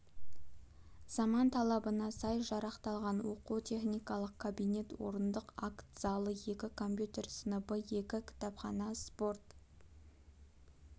заман талабына сай жарақталған оқу-техникалық кабинет орындық акт залы екі компьютер сыныбы екі кітапхана спорт